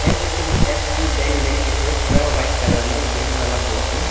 HDFC bank लिख के है पूरा वाइट कलर में ग्रीन वाला बोर्ड में।